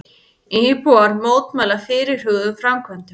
Íbúar mótmæla fyrirhuguðum framkvæmdum